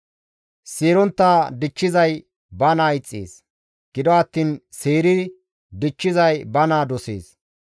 Seerontta dichchizay ba naa ixxees; gido attiin seeri dichchizay ba naa dosees.